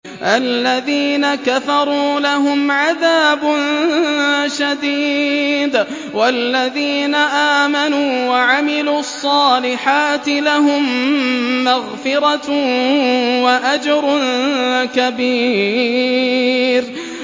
الَّذِينَ كَفَرُوا لَهُمْ عَذَابٌ شَدِيدٌ ۖ وَالَّذِينَ آمَنُوا وَعَمِلُوا الصَّالِحَاتِ لَهُم مَّغْفِرَةٌ وَأَجْرٌ كَبِيرٌ